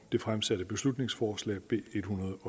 det fremsatte beslutningsforslag b ethundrede